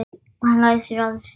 Og hann læsir að sér.